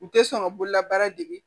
U tɛ sɔn ka bololabaara dege